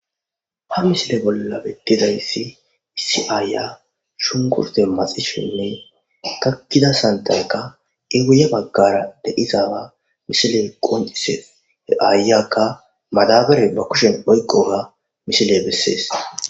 ha misile bolla betidayssi issi aayya shunkurte maxishinne kakkida santaykka iwuye baggara deizaa misiley qonises he aayakka madabare ba kushen oyqoga misile bessees